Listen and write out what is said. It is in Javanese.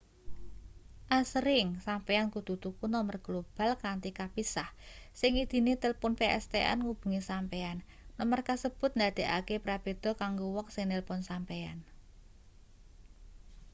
asring sampeyan kudu tuku nomer global kanthi kapisah sing ngidini tilpun pstn ngubungi sampeyan nomer kasebut ndadekake prabéda kanggo wong sing nilpun sampeyan